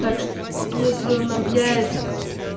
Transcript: так что если он объявится